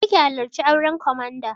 Je ki halarci auren komanda!